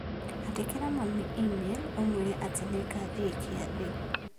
Andĩkĩra mami i-mīrū ũmũĩre atĩ nĩngathĩĩ kĩathĩ.